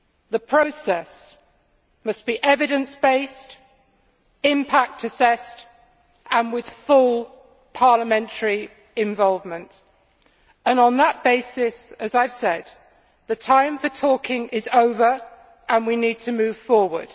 The process must be evidence based, impact assessed and with full parliamentary involvement, and on that basis, as I have said, the time for talking is over and we need to move forward.